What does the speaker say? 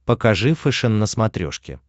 покажи фэшен на смотрешке